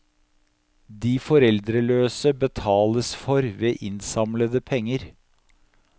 De foreldreløse betales for ved innsamlede penger.